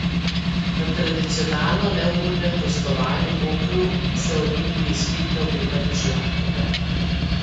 Na tradicionalno neugodnem gostovanju v Kopru se Olimpiji spet ne obeta nič lahkega.